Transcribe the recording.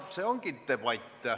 See ongi debatt.